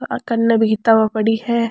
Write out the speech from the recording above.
आ कन्ने भी किताबा पड़ी है।